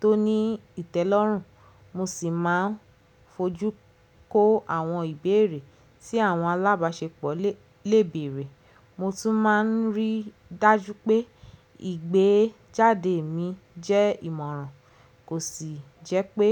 tó ní ìtẹ́lọ́rùn, mo sì máa ń fojú kó àwọn ìbéèrè tí àwọn alábàáṣepọ̀ lè bèèrè. Mo tún máa ń rí dájú pé ìgbéjáde mi jẹ́ ìmọ̀ràn, kò sì jẹ́ pé